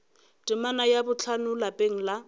temana ya bohlano lapeng la